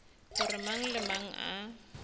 gore mang le mang a